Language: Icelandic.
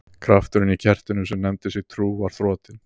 Krafturinn í kertinu sem nefndi sig trú var þrotinn.